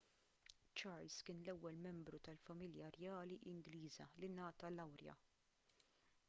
charles kien l-ewwel membru tal-familja rjali ingliża li ngħata lawrja